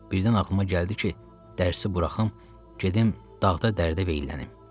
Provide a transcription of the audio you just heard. Birdən ağlıma gəldi ki, dərsi buraxım, gedim dağda dərdə və illənim.